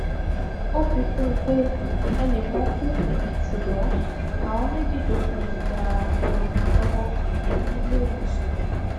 ó fi kún un pé ẹnì kan kú ṣùgbọn àwọn méjì tó kù ń gba ìtọjú lọwọ níléewọsàn